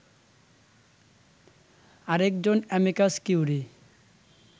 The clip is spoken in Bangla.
আরেকজন অ্যামিকাস কিউরি